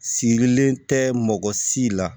Sigilen tɛ mɔgɔ si la